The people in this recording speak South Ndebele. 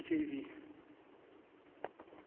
b j v